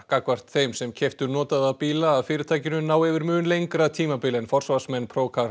gagnvart þeim sem keyptu notaða bíla af fyrirtækinu ná yfir mun lengra tímabil en forsvarsmenn